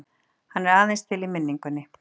Hann er aðeins til í minningunni.